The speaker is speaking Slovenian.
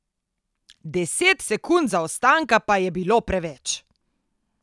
Deset sekund zaostanka pa je bilo preveč.